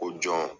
O jɔn